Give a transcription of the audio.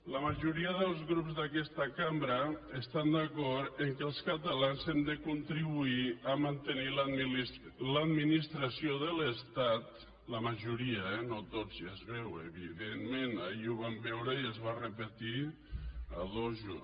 la majoria dels grups d’aquesta cambra estan d’acord que els catalans hem de contribuir a mantenir l’administració de l’estat la majoria eh no tots ja es veu evidentment ahir ho vam veure i es va repetir a dojo